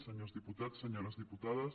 senyors diputats senyores diputades